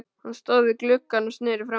Hann stóð við gluggann og sneri frá mér.